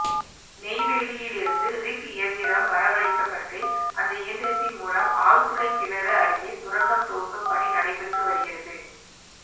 நெய்வேலியிலிருந்து rig இயந்திரம் வரவழைக்கப்பட்டு அந்த இயந்திரத்தின் மூலம் ஆழ்துளை கிணறு அருகே சுரங்கம் தோண்டும் பணி நடைபெற்று வருகிறது